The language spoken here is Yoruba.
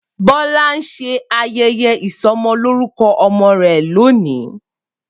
Bola n se ayeye isomoloruko omo re lonii.